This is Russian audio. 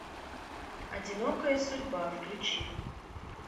одинокая судьба включи